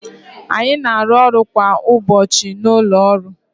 anyị na-arụ ọrụ kwa ụbọchị na ụlọ ọrụ